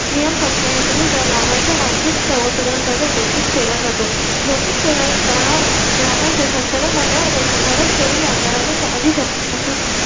नियम पंच्याऐंशी नुसार लाभांश वार्षिक सर्वसाधारण सभेत घोषित केला जातो. घोषित केला जाणारा. लाभांश च्या संचालक मंडळाने शिफारस केलेल्या दरा पेक्षा अधिक असू नये.